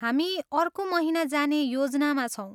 हामी अर्को महिना जाने योजनामा छौँ।